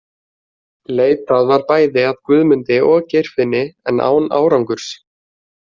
Leitað var bæði að Guðmundi og Geirfinni en án árangurs.